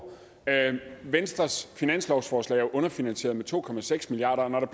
venstres finanslovsforslag er jo underfinansieret med to milliard